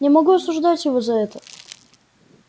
не могу осуждать его за это